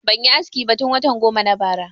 Ban yi aski ba tun watan goma na bara